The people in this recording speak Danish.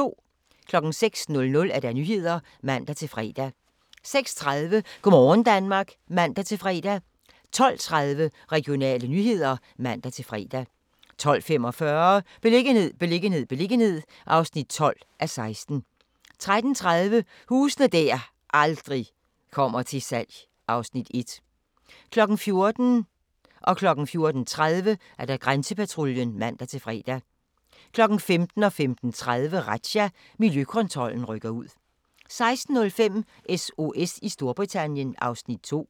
06:00: Nyhederne (man-fre) 06:30: Go' morgen Danmark (man-fre) 12:30: Regionale nyheder (man-fre) 12:45: Beliggenhed, beliggenhed, beliggenhed (12:16) 13:30: Huse der aldrig kommer til salg (Afs. 1) 14:00: Grænsepatruljen (man-fre) 14:30: Grænsepatruljen (man-fre) 15:00: Razzia – Miljøkontrollen rykker ud 15:30: Razzia – Miljøkontrollen rykker ud 16:05: SOS i Storbritannien (Afs. 2)